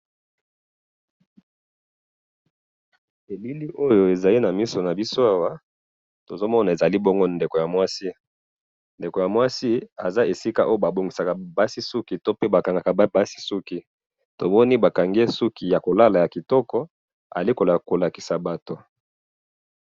Elili oyo ezali namisu nabiso awa tozomona ezali bongo ndeko ya mwasi ndeko ya mwasi aza esik oyo ba bongisaka suki to pe batekisaka basuki azali kolakisa bato.